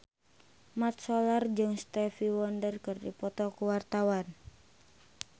Mat Solar jeung Stevie Wonder keur dipoto ku wartawan